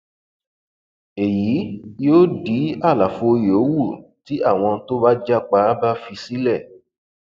èyí yóò dí àlàfo yòówù tí àwọn tó bá já pa bá fi sílẹ